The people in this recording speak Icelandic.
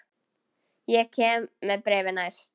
Ég kem með bréfin næst.